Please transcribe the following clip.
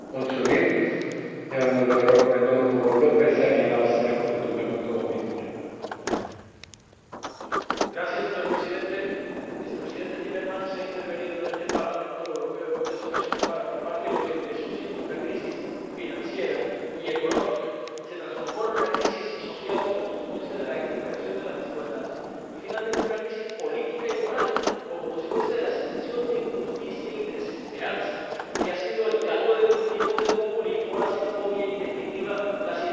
Señor Presidente, Vicepresidente Timmermans, se ha intervenido en este Parlamento Europeo en muchas ocasiones para afirmar que lo que empezó siendo una crisis financiera y económica se transformó en una crisis social como consecuencia de la exasperación de las desigualdades. Y, finalmente, en una crisis política y moral como consecuencia de la sensación de injusticia y de desesperanza, que ha sido el caldo de cultivo del populismo, la xenofobia y, en definitiva, las ideas cada vez más rabiosamente antieuropeas, que ponen en cuestión el estado de la calidad de la democracia y de los derechos fundamentales en la Unión Europea.